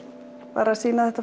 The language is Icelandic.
bara sýna þetta